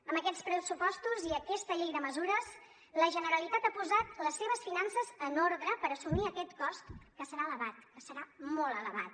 amb aquests pressupostos i aquesta llei de mesures la generalitat ha posat les seves finances en ordre per assumir aquest cost que serà elevat que serà molt elevat